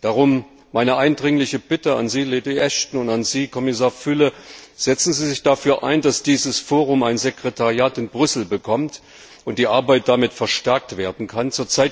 Darum meine eindringliche Bitte an Sie, Lady Ashton, und an Sie, Kommissar Füle Setzen Sie sich dafür ein, dass dieses Forum ein Sekretariat in Brüssel bekommt und die Arbeit damit verstärkt werden kann.